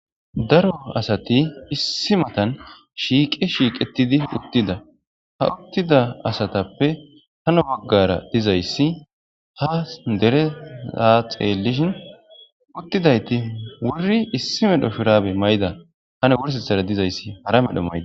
daro asati issi matan shiiqi shiiqetidi uttida ha uttida asatappe hano baggara dizayssi ha dere saa xeellishin uttidayti wuri issi medho firaabe mayda hano wursethara dizayssi hara medho maydes